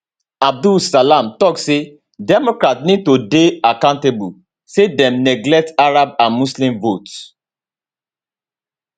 abdel salam tok say democrats need to dey accountable say dem neglect arab and muslim votes